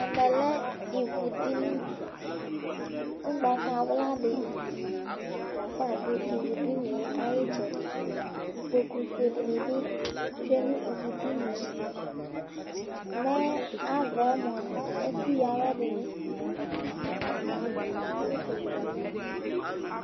Ɛmɛ lɛ ivudini Ugbatawla dɩ lafa ɔdʋ ivudini yɛ ayʋ ɩtsɛdɩ Ikpokufue dɩnɩ bɩ atsʋe nʋ ivudini yɛ Mɛ ava yɛ mʋa, ɛkʋyǝ awɛ nɩ bɩ lafa adʋ Utu dɩ bɩ dʋ ɛfɛ